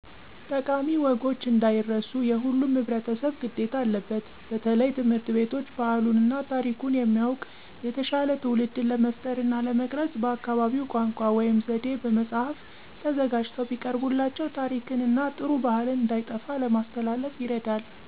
ጠቃሚ ወጎች እንዳይረሱ የሁሉም ህብረተሰብ ግዴታ አለበት በተለየ ትምህርት ቤቶች ባህሉን እና ታሪኩን የሚያዉቅ የተሻለ ትዉልድን ለመፍጠር እና ለመቅረፅ በአካባቢው ቋንቋ (ዘዬ) በመፃህፍ ተዘጋጅተው ቢቀርቡላቸው ታሪክን እና ጥሩ ባህልን እንዳይጠፉ ለማስተላለፍ ይረዳል።